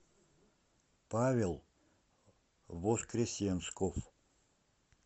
павел воскресенсков